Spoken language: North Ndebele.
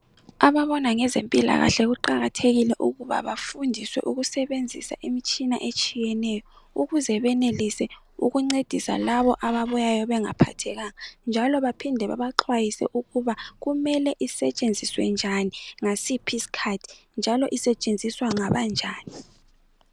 ababona ngezempilakhale kuqakathekile ukubana bafundiswe ukusebenzisa imitshina etshiyeneyo ukuze benelise ukuncedisa labo ababuyayo bengaphathekanga njalo baphinde babaxwayise ukuba kumele isetshenziswe njani ngasiphi isikhathi njalo isetshenziswa ngabanjani